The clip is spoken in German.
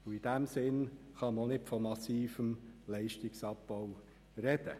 Man kann also auch nicht von massivem Leistungsabbau sprechen.